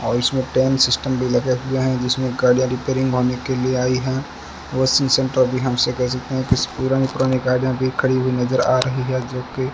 और इसमें chain system भी लगे हुए हैं जिसमें गाड़ी रिपेयरिंग होने के लिए आई हैं वॉशिंग सेंटर भी हम इसे कह सकते हैं कुछ पुरानी पुरानी गाड़ियां अभी खड़ी हुई नजर आ रही है जोकि --